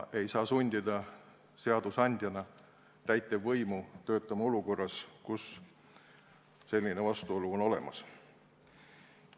Seadusandja ei saa sundida täitevvõimu töötama olukorras, kus selline vastuolu on olemas.